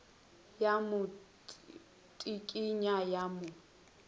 ya mo tsikinya ya mo